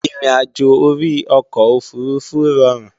Ìrìnàjò orí ọkọ̀ òfurufú rọrùn